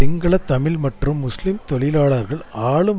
சிங்கள தமிழ் மற்றும் முஸ்லிம் தொழிலாளர்கள் ஆளும்